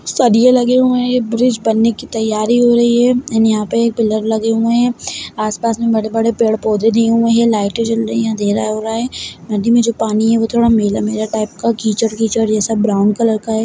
सरिए लगे हुए हैं ये ब्रिज बनने की तैयारी हो रही हैं एंड यहाँ पे पिल्लर लगे हुए हैं आस-पास बड़े-बड़े पेड़-पौधे दिए हुए हैं लाईटे जल रही हैं अँधेरा हो रहा है नदी में जो पानी है वो थोड़ा मैला-मैला टाइप का कीचड़ कीचड़ जैसा ब्राउन कलर का हैं।